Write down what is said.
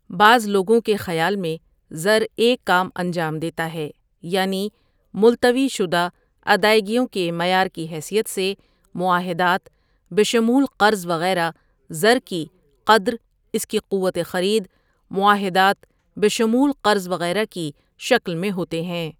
بعض لوگوں کے خیال میں زر ایک کام انجام دیتا ہے یعنی ملتوی شدہ ادائیگیوں کے معیار کی حیثیت سے معاہدات بشمول قرض وغیرہ زر کی قدر اس کی قوت خریدمعاہدات بشمول قرض وغیرہ کی شکل میں ہوتے ہیں ۔